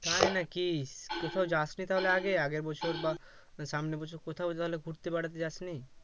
তাই নাকি কোথাও যাসনি তাহলে আগে আগের বছর বা সামনে বছর কোথাও তাহলে ঘুরতে বেড়াতে যাস নি